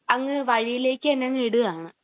അങ്ങ് വഴിയിലേക്ക് തന്നെയങ്ങ് ഇടാന്